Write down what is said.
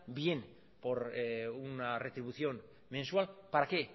bien por una retribución mensual para qué